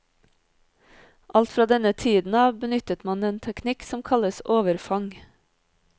Alt fra denne tiden av benyttet man den teknikk som kalles overfang.